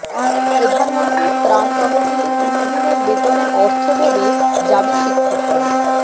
প্রধানমন্ত্রীর ত্রাণ তহবিলে দুই দিনের বেতনের অর্থ দেবে জাবি শিক্ষকরা